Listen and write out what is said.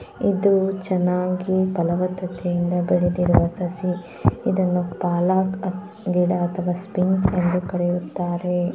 ಇದು ಚೆನ್ನಾಗಿ ಬೆಳೆದಿರುವ ಸಸಿ ಇದನ್ನು ಪಾಲಕ್ ಗಿಡ ಅಥವಾ ಸ್ಪಿನಾಚ್ ಎಂದು ಕರೆಯುತ್ತಾರೆ.